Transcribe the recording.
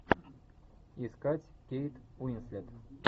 искать кейт уинслет